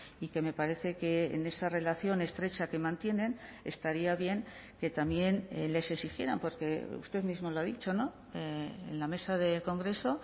y que me parece que en esa relación estrecha que mantienen estaría bien que también les exigieran porque usted mismo lo ha dicho no en la mesa del congreso